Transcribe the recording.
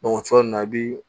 o cogoya in na i bi